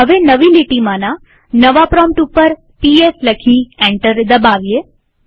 હવે નવી લીટીમાંના નવા પ્રોમ્પ્ટ ઉપર ps લખી એન્ટર દબાવીએ